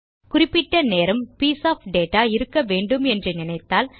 குறிப்பிட்ட நேரம் piece of data இருக்க வேண்டும் என்று நினைத்தால்